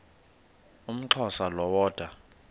umxhosa lo woda